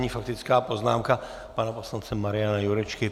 Nyní faktická poznámka pana poslance Mariana Jurečky.